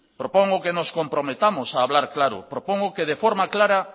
propongo que nos comprometamos a hablar claro propongo que de forma clara